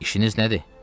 İşiniz nədir?